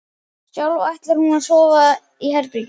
Sjálf ætlar hún að sofa í herbergi